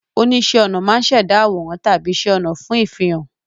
Oníṣẹ́-ọnà máa ń ṣẹ̀dá àwòrán tàbí iṣẹ́ ọnà fún ìfihàn.